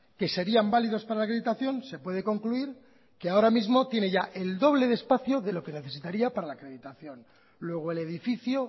que serían válidos para la acreditación se puede concluir que ahora mismo tiene ya el doble de espacio de lo que necesitaría para la acreditación luego el edificio